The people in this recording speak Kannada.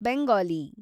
ಬೆಂಗಾಲಿ